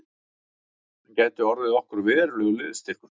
Hann gæti orðið okkur verulegur liðsstyrkur